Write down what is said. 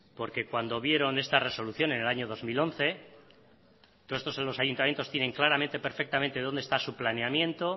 porque cuando vieron esta resolución en el año dos mil once todo esto los ayuntamientos tienen claramente perfectamente dónde está su planeamiento